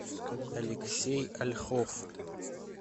алексей ольхов